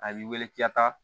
A b'i wele k'i ka taa